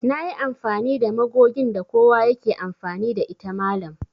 Nayi amfani da magogin da kowa yake amfani da ita mallam